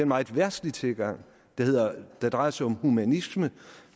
meget verdslig tilgang der drejer sig om humanisme